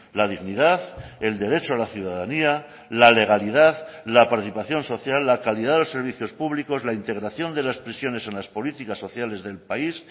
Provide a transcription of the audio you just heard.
la dignidad el derecho a la ciudadanía la legalidad la participación social la calidad de los servicios públicos la integración de las prisiones en las políticas sociales del país